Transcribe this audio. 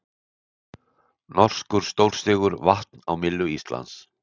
Norskur stórsigur vatn á myllu Íslands